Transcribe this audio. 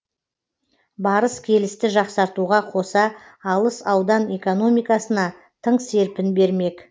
барыс келісті жақсартуға қоса алыс аудан экономикасына тың серпін бермек